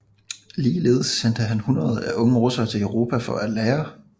Ligeledes sendte han hundreder af unge russere til Europa for at lære